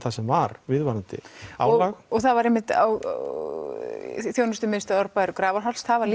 þar sem var viðvarandi álag og það var einmitt á þjónustumiðstöð Árbæjar og Grafarholts þar var